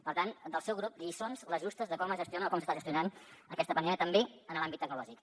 per tant del seu grup lliçons les justes de com es gestiona o com s’està gestionant aquesta pandèmia també en l’àmbit tecnològic